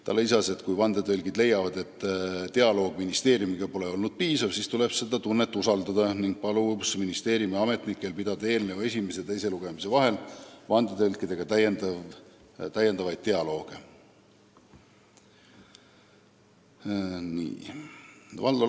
Ta lisas, et kui vandetõlgid leiavad, et dialoog ministeeriumiga pole olnud piisav, siis tuleb seda tunnet usaldada, ning palus ministeeriumi ametnikel pidada eelnõu esimese ja teise lugemise vahel vandetõlkidega täiendavaid dialooge.